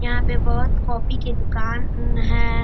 यहाँ पे बहुत कॉपी के दुकान अ है।